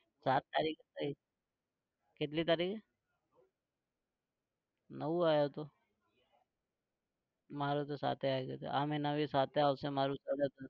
સાત તારીખ પછી કેટલી તારીખ? નવ આવ્યો હતો મારે તો સાત એ આવી ગઈ હતી આ મહીના भी સાત એ આવશે મારું તો કદાચ.